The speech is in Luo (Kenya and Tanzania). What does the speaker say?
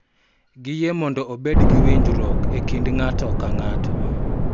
Giyie mondo obed gi winjruok e kind ng�ato ka ng�ato .